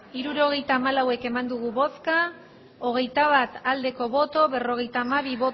hirurogeita hamalau eman dugu bozka hogeita bat bai berrogeita hamabi